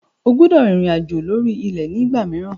O gbọdọ̀ rìnrìn àjò lórí ilẹ̀ ní ìgbà mìíràn.